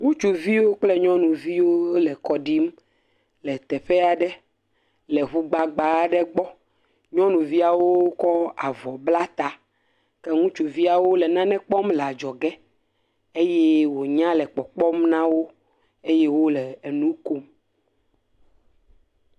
Ŋutsuviwo kple nyɔnuviwo le kɔ ɖim le teƒe aɖe le ŋu gbagba aɖe gbɔ. Nyɔnuvia kɔ avɔ bla ta ke ŋutsuviawo le nane kpɔm le adzɔge eye wonya le kpɔkpɔ nawo eye wole nu kom